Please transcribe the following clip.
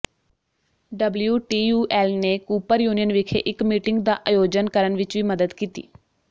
WTUL ਨੇ Cooper Union ਵਿਖੇ ਇੱਕ ਮੀਟਿੰਗ ਦਾ ਆਯੋਜਨ ਕਰਨ ਵਿੱਚ ਵੀ ਮਦਦ ਕੀਤੀ